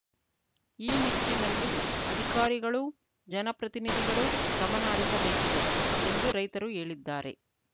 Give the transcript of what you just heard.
ಈ ನಿಟ್ಟಿನಲ್ಲಿ ಅಧಿಕಾರಿಗಳು ಜನಪ್ರತಿನಿಧಿಗಳು ಗಮನಹರಿಸಬೇಕಿದೆ ಎಂದು ರೈತರು ಹೇಳಿದ್ದಾರೆ